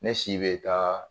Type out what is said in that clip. Ne si be taa